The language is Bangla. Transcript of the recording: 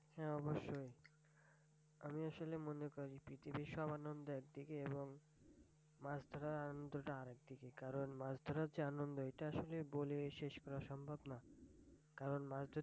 হ্যাঁ অবশ্যই আমি আসলে মনে করি পৃথিবীর সব আনন্দ একদিকে এবং মাছ ধরার আনন্দ টা আরেকদিকে কারণ মাছ ধরার যে আনন্দ এটা আসলে বলে শেষ করা সম্ভব না কারণ মাছ ধরতে